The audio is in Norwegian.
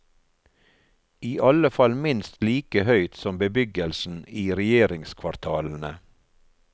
I alle fall minst like høyt som bebyggelsen i regjeringskvartalene.